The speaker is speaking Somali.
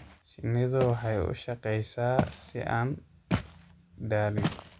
Shinnidu waxay u shaqeysaa si aan daalin.